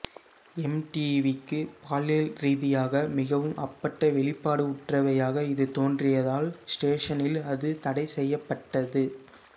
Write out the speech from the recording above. எம்டிவிக்கு பாலியல்ரீதியாக மிகவும் அப்பட்ட வெளிப்பாடுற்றவையாக இது தோன்றியதால் ஸ்டேஷனில் அது தடை செய்யப்பட்டது